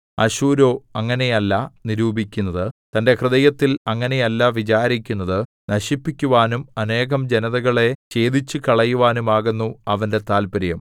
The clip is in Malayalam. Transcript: അശ്ശൂരോ അങ്ങനെയല്ല നിരൂപിക്കുന്നത് തന്റെ ഹൃദയത്തിൽ അങ്ങനെയല്ല വിചാരിക്കുന്നത് നശിപ്പിക്കുവാനും അനേകം ജനതകളെ ഛേദിച്ചുകളയുവാനുമാകുന്നു അവന്റെ താത്പര്യം